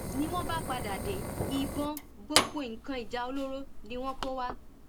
ni wọn bá padà dé ìbọn gbogbo nǹkan ìjà olóró ni wọn kó wá